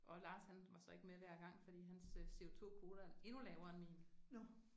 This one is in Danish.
Og Lars han var så ikke med hver gang fordi hans CO2-kvote er endnu lavere end min